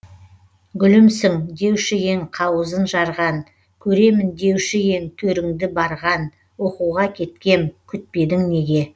гүлімсің деуші ең қауызын жарған көремін деуші ең төріңді барған оқуға кеткем күтпедің неге